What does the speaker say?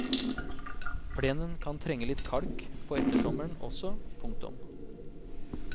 Plenen kan trenge litt kalk på ettersommeren også. punktum